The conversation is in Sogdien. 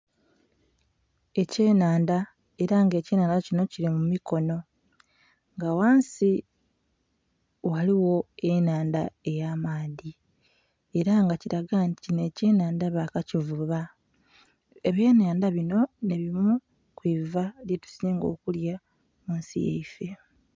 Ekye nhandha era nga ekye nhandha kinho kili mu mikonho nga ghansi ghaligho enhandha eya maadhi era nga kilaga nti kinho ekye nhandha ba kakivuuba ebye nhandha binho nhe bimu kwiva lyetusinga okulya munsi yaifee.